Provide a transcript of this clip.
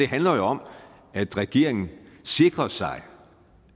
handler jo om at regeringen sikrer sig